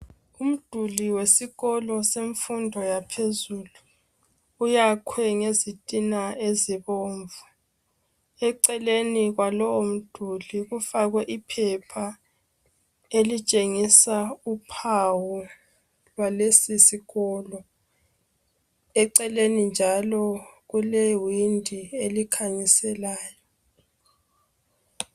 Umduli wesikolo semfundo yaphezulu, uyakhwe ngezitina ezibomvu eceleni kwalowomduli kufakwe iphepha elitshengisa uphawu lalesisikolo, eceleni njalo kulewindi elikhanyiselayo.